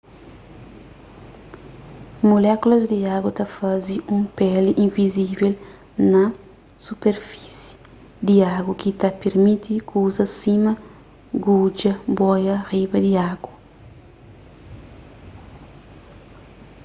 mulékulas di agu ta faze un peli invizivel na superfisi di agu ki ta pirmiti kuzas sima gudja boia riba di agu